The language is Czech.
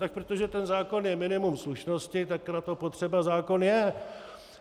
Tak protože ten zákon je minimum slušnosti, tak na to potřeba zákon je.